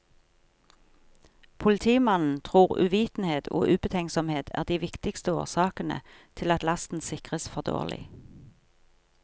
Politimannen tror uvitenhet og ubetenksomhet er de viktigste årsakene til at lasten sikres for dårlig.